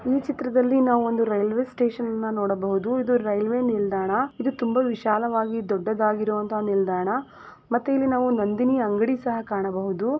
ಈ ಚಿತ್ರದಲ್ಲಿ ನಾವು ಒಂದು ರೈಲ್ವೆ ಸ್ಟೇಷನ್ ಅನ್ನು ನೋಡಬಹುದು ಇದು ರೈಲ್ವೆ ನಿಲ್ದಾಣ ಇದು ತುಂಬಾ ವಿಶಾಲವಾಗಿ ದೊಡ್ಡದಾಗಿರೋ ಅಂತಹ ನಿಲ್ದಾಣ ಮತ್ತೆ ಇಲ್ಲಿ ನಾವ ನಂದಿನಿ ಅಂಗಡಿ ಸಹ ಕಾಣಬಹುದು .